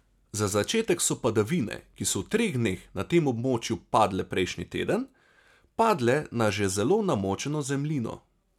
Za začetek so padavine, ki so v treh dneh na tem območju padle prejšnji teden, padle na že zelo namočeno zemljino.